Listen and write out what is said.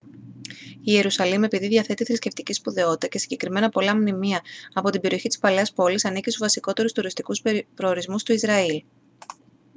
η ιερουσαλήμ επειδή διαθέτει θρησκευτική σπουδαιότητα και συγκεκριμένα πολλά μνημεία από την περιοχή της παλαιάς πόλης ανήκει στους βασικότερους τουριστικούς προορισμούς του ισραήλ